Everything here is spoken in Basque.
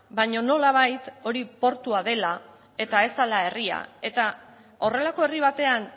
baina nolabait hori portua dela eta ez dela herria eta horrelako herri batean